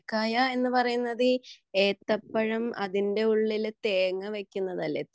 ഉന്നക്കായ എന്ന് പറയുന്നത് ഏത്തപ്പഴം അതിന്റെ ഉളിൽ തേങ്ങാ വെക്കുന്നതല്ലേ